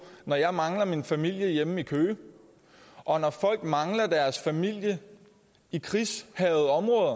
når jeg mangler min familie hjemme i køge og når folk mangler deres familie i krigshærgede områder